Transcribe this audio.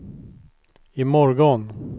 imorgon